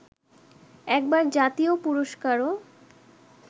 একবার জাতীয় পুরস্কারও